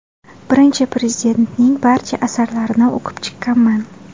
Birinchi Prezidentning barcha asarlarini o‘qib chiqqanman.